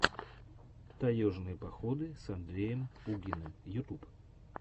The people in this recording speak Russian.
таежные походы с андреем пугиным ютуб